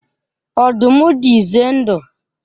Ọdụm dị ize ndụ.